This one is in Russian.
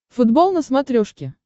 футбол на смотрешке